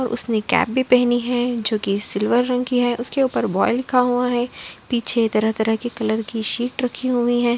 और उसने कैप भी पहनी है जो कि सिल्वर रंग की है उसके ऊपर बाय लिखा हुआ है। पीछे तरह-तरह के कलर की सीट रखी हुई है।